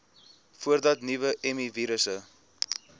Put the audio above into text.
voordat nuwe mivirusse